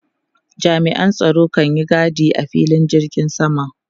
Jami'an tsaro kan yi gadi a filin jirgin sama.